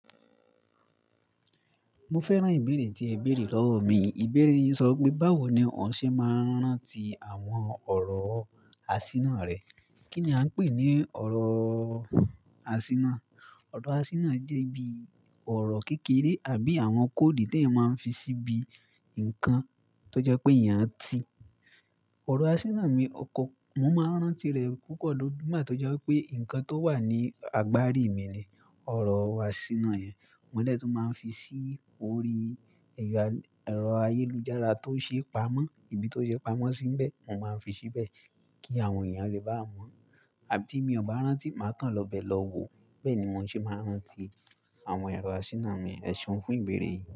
Mo fẹ́ràn ìbéèrè tí ẹ béèrè lọ́wọ́ mi. Ìbéèrè yí sọ pé báwo ni òun ṣe máa ń rántí àwọn ọ̀rọ̀ àsínà rẹ̀. Kí ni a ń pè ní ọ̀rọ̀ àsínà? Ọ̀rọ̀ àsínà jẹ́ bí ọ̀rọ̀ kékeré àbí àwọn kóòdi tí ẹ máa ń fi síbi nǹkan tó jẹ́ pé èèyàn ti. Ọ̀rọ̀ àsínà mi ọkọ, mo máa ń rántí rẹ̀ púpọ̀ dodu nigba tó jẹ́ wípé nǹkan tó wà ní agbárí mi ni ọ̀rọ̀ àsínà yẹn. Mo de tun máa ń fi sí orí ẹ̀rọ ayélujára tó ṣe pamọ́, ibi tó ṣe pamọ́ síbẹ̀, mo máa ń fi síbẹ̀ kí àwọn èèyàn lè bá mọ̀. Àbí tí mi ò bá rántí, màá kàn lọ bẹ lọ wo. Bẹ́ẹ̀ ni mo ṣe máa ń rántí àwọn ẹ̀rọ àsínà mi. Eseun fún ìbéèrè yìí.